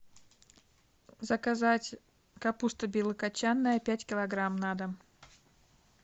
заказать капуста белокочанная пять килограмм на дом